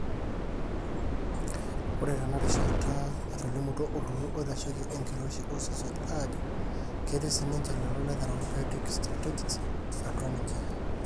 ore tena rishata etolimutuo olturrur oitasheiki enkiroshi osesen ajo ketii sinje lelo le therapeutic strategies atua ninje